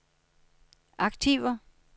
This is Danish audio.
aktiver